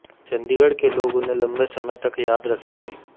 चंडीगढ़ के लोग उन्हें लंबे समय तक याद रखेंगे